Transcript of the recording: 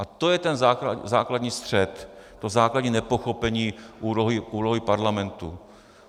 A to je ten základní střet, to základní nepochopení úlohy Parlamentu.